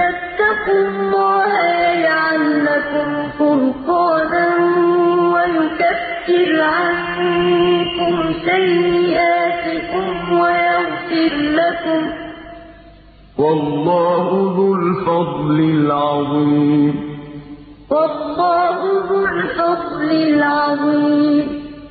تَتَّقُوا اللَّهَ يَجْعَل لَّكُمْ فُرْقَانًا وَيُكَفِّرْ عَنكُمْ سَيِّئَاتِكُمْ وَيَغْفِرْ لَكُمْ ۗ وَاللَّهُ ذُو الْفَضْلِ الْعَظِيمِ